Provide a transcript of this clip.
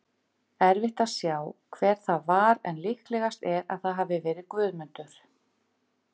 Erfitt að sjá hver það var en líklegast er að það hafi verið Guðmundur.